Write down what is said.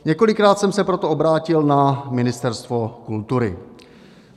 Několikrát jsem se proto obrátil na Ministerstvo kultury.